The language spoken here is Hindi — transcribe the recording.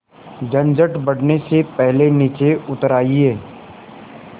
झंझट बढ़ने से पहले नीचे उतर आइए